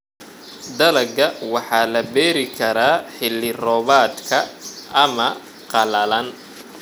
Dalagga waxa la beeri karaa xilli roobaadka ama qalalan.